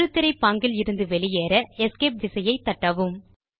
முழுத்திரை பாங்கில் இருந்து வெளியேற எஸ்கேப் விசையை தட்டவும்